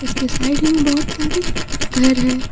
उसके साइड में बहुत सारे घर हैं।